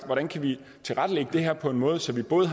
hvordan kan vi tilrettelægge det her på en måde så vi både